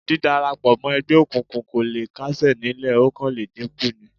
Dídárapọ̀ mọ́ ẹgbẹ́ òkùnkùn kò le kásẹ̀ nílẹ̀ ó kàn le dínkù ni